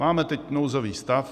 Máme teď nouzový stav.